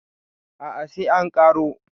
a a sai an karo